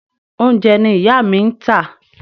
Oúnjẹ ni ìyá mi ń tà.